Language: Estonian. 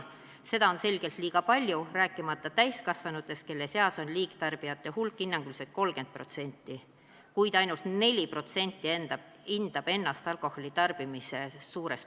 Seda on selgelt liiga palju, rääkimata täiskasvanutest, kelle seas on liigtarbijate hulk hinnanguliselt 30%, kuid ainult 4% hindab enda alkoholitarvitamist liiga suureks.